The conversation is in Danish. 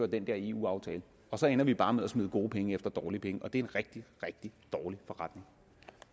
den der eu aftale og så ender vi bare med at smide gode penge efter dårlige penge og det er en rigtig rigtig dårlig forretning